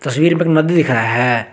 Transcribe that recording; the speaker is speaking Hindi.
रिल पर एक नदी दिख रहा है।